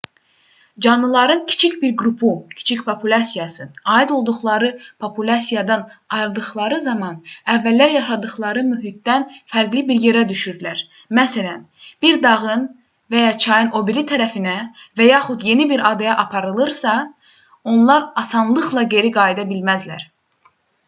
canlıların kiçik bir qrupu kiçik populyasiyası aid olduqları populyasiyadan ayrıldıqları zaman əvvəllər yaşadıqları mühitdən fərqli bir yerə düşürlər məsələn bir dağın və ya çayın o biri tərəfinə və yaxud yeni bir adaya aparılarsa onlar asanlıqla geri qayıda bilməzlər